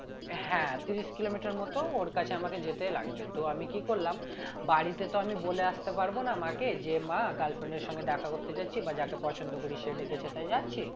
হ্যাঁ তিরিশ কিলোমিটার মত ওর কাছে আমাকে যেতে লাগবে তো আমি কি করলাম বাড়িতে তো আমি বলে আসতে পারবো না মাকে যে মা girlfriend এর সঙ্গে দেখা করতে যাচ্ছি বা যাকে পছন্দ করি সে ডেকেছে তাই যাচ্ছি